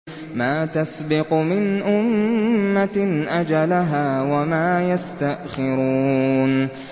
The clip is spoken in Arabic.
مَا تَسْبِقُ مِنْ أُمَّةٍ أَجَلَهَا وَمَا يَسْتَأْخِرُونَ